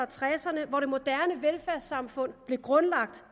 tresserne hvor det moderne velfærdssamfund blev grundlagt